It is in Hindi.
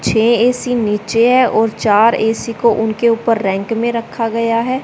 छे ए_सी नीचे है और चार ए_सी को उनके ऊपर रैंक में रखा गया है।